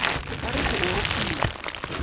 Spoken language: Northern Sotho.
ba re go o rutolla